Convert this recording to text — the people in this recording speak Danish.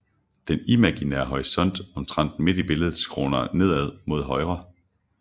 Den imaginære horisont omtrent midt i billedet skråner nedad mod højre